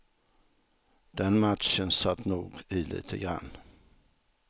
Den matchen satt nog i lite grann.